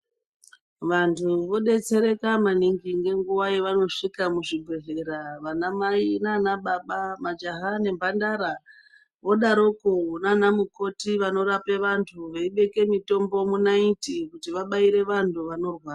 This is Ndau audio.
Vantu vodetsereka maningi nenguva yevanosvika muzvibhedhlera, vana mai naana baba, majaha nemhandara vodaroko nana mukhoti vanorape vantu veibeke mitombo mwonaiti kuti vabaire vanhu vanorwara.